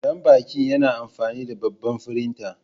Danbaki yana amfani da babban firinta.